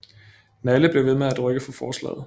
Nalle blev ved med at rykke for forslag